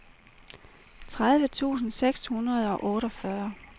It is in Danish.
tredive tusind seks hundrede og otteogfyrre